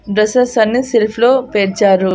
Dresses అన్నీ shelf లో పేర్చారు.